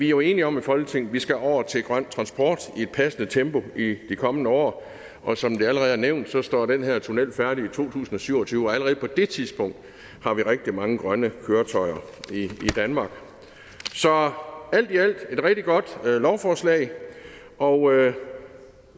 jo enige om i folketinget at vi skal over til grøn transport i et passende tempo i de kommende år og som det allerede er nævnt står den her tunnel færdig i to tusind og syv og tyve og allerede på det tidspunkt har vi rigtig mange grønne køretøjer i danmark så alt i alt er det et rigtig godt lovforslag og